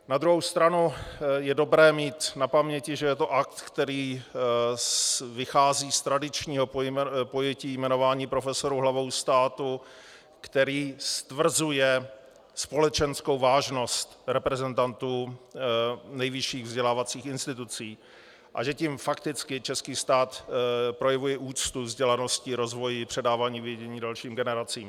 Na druhou stranu je dobré mít na paměti, že je to akt, který vychází z tradičního pojetí jmenování profesorů hlavou státu, který stvrzuje společenskou vážnost reprezentantů nejvyšších vzdělávacích institucí, a že tím fakticky český stát projevuje úctu vzdělanosti, rozvoji, předávání vědění dalším generacím.